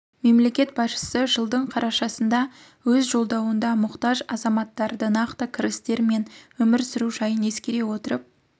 мемлекет басшысы жылдың қарашасындағы өз жолдауында мұқтаж азаматтарды нақты кірістері мен өмір сүру жағдайын ескере отырып